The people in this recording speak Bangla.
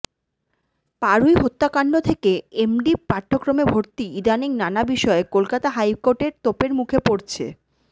পাড়ুই হত্যাকাণ্ড থেকে এমডি পাঠ্যক্রমে ভর্তি ইদানীং নানা বিষয়ে কলকাতা হাইকোর্টের তোপের মুখে পড়ছে